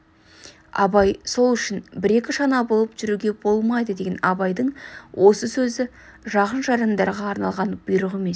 абай сол үшін бір-екі шана болып жүруге болмайды деген абайдың осы сөзі жақын-жарандарға арналған бұйрық емес